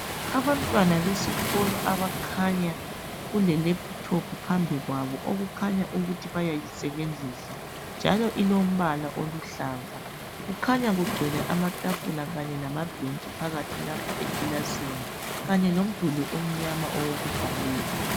Abantwana besikolo abakhanya kule lephuthophu phambi kwabo okukhanya ukuthi bayayisebenzisa njalo ilombala oluhlaza kukhanya kugcwele amatafula lamabhentshi phakathi lapha ekilasini kanye lomduli omnyama owokubhalela.